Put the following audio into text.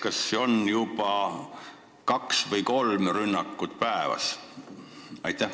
Kas nüüd tehakse juba kaks või kolm rünnakut päevas?